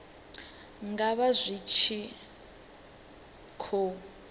nga vha zwi tshi khou